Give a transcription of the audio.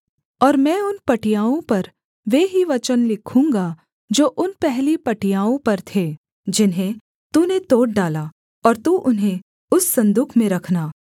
और मैं उन पटियाओं पर वे ही वचन लिखूँगा जो उन पहली पटियाओं पर थे जिन्हें तूने तोड़ डाला और तू उन्हें उस सन्दूक में रखना